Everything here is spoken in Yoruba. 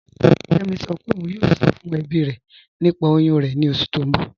Kẹmi sọ́ pé ọ̀un yóò sọ̀ fún ẹ̀bí rẹ̀ nípà oyún rẹ̀ ni oṣù tí n bọ̀.